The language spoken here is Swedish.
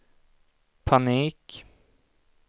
panik